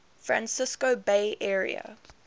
francisco bay area